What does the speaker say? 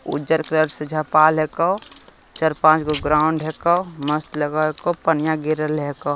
उज्जर कलर से झपाल हैकोचार पाँच गो ग्राउंड हैको मस्त लगल हैको पनिया गिरल हैको।